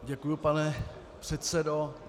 Děkuji, pane předsedo.